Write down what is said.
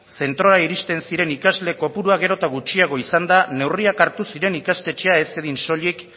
zentrora iristen ziren ikasle kopurua gero eta gutxiago izanda neurriak hartu ziren ikastetxea ez zedin soilik